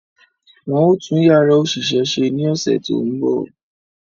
Wọ́n ó tún Yàrá òṣìṣẹ́ ṣe ní ọ̀sẹ̀ tó ń bọ̀